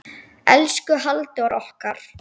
Elsku Halldór okkar.